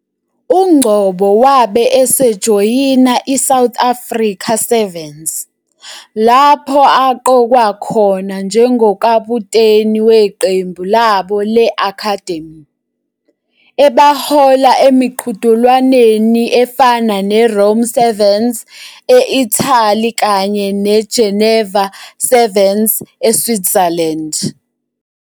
UNgcobo wabe esejoyina iSouth Africa Sevens, lapho aqokwa khona njengokaputeni weqembu labo le-Academy, ebahola emiqhudelwaneni efana neRome Sevens e-Italy kanye neGeneva Sevens eSwitzerland.